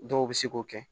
Dɔw bɛ se k'o kɛ